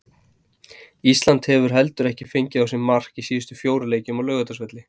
Ísland hefur heldur ekki fengið á sig mark í síðustu fjórum leikjum á Laugardalsvelli.